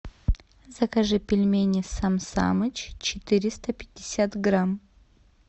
закажи пельмени сам самыч четыреста пятьдесят грамм